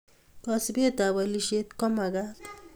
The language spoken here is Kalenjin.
Kasubet ab alishet kumakat